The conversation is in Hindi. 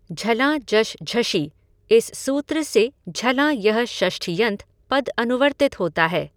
झलां जश् झषि इस सूत्र से झलां यह षष्ठ्यन्त पद अनुवर्तित होता है।